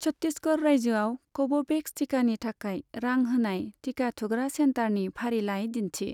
छट्टिसगड़ रायजोआव कभ'भेक्स टिकानि थाखाय रां होनाय टिका थुग्रा सेन्टारनि फारिलाइ दिन्थि।